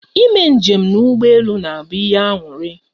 I me njem na ụgbọ elu na abụ ihe aṅụrị